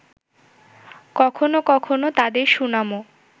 কখনো কখনো তাদের সুনামও